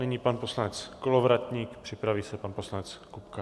Nyní pan poslanec Kolovratník, připraví se pan poslanec Kupka.